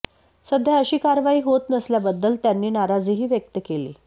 सध्या अशी कारवाई होत नसल्याबद्दल त्यांनी नाराजीही व्यक्त केली